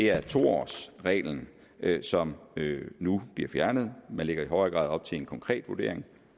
er to årsreglen som nu bliver fjernet man lægger i højere grad op til en konkret vurdering